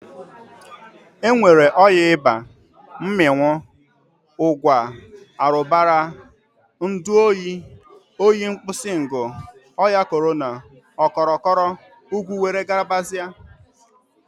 E nwere ọya ịba, mmịnwụ, ụgwa, arụbara, ndu oyi, oyi nkpusingu, ọya Korana, kọrọkọrọ, igwu were gabazia.